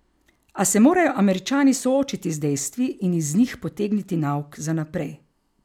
A se morajo Američani soočiti z dejstvi in iz njih potegniti nauk za naprej.